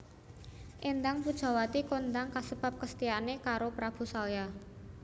Éndang Pujawati kondang kasebab kesetiaane karo Prabu Salya